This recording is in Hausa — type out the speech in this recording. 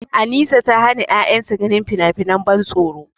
Anisa ta hana ƴaƴanta ganin finafinan ban tsoro.